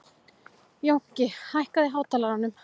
Jónki, hækkaðu í hátalaranum.